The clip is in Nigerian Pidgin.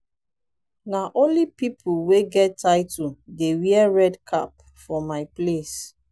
na only pipo wey get title dey wear red cap for my place.